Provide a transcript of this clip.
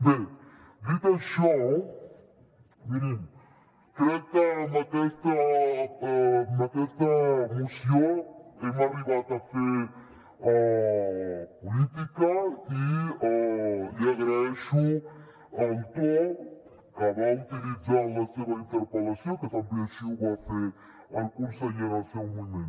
bé dit això mirin crec que amb aquesta moció hem arribat a fer política i li agraeixo el to que va utilitzar a la seva interpel·lació que també així ho va fer el conseller en el seu moment